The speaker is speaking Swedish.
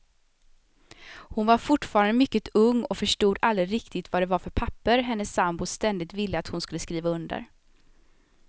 Hon var fortfarande mycket ung och förstod aldrig riktigt vad det var för papper hennes sambo ständigt ville att hon skulle skriva under.